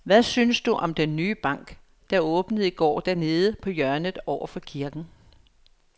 Hvad synes du om den nye bank, der åbnede i går dernede på hjørnet over for kirken?